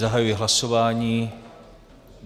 Zahajuji hlasování.